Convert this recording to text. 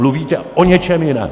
Mluvíte o něčem jiném!